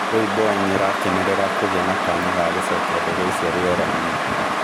Rĩu boeing ĩrakenerera kũgea na kanya ga gũcokia ndege icio rĩerainĩ